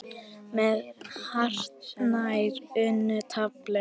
með hartnær unnu tafli.